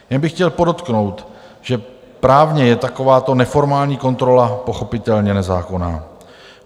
Jen bych chtěl podotknout, že právně je takováto neformální kontrola pochopitelně nezákonná.